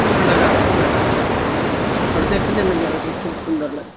फूल लगाह लगा हुआ है और देखने में जो है सब खूब सुंदर लग --